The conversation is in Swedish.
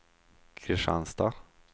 Kristianstad